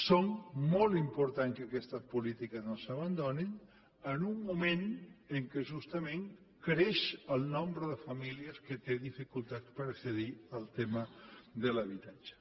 és molt important que aquestes polítiques no s’abandonin en un moment en què justament creix el nombre de famílies que té dificultats per accedir al tema de l’habitatge